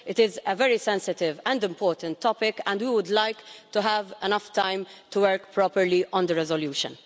It is a very sensitive and important topic, and we would like to have enough time to work properly on the resolution.